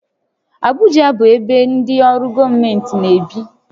Abụja bụ ebe ndị ọrụ gọọmentị na-ebi